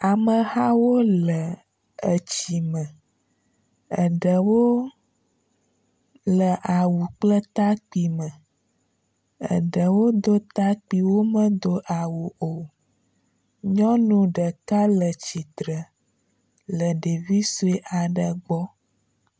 Amehawo le etsi me. Eɖewo le awu kple takpi me. Eɖewo wodo takpi wo medo awu o. Nyɔnu ɖeka le tsitre le ɖevi sue aɖe gbɔ.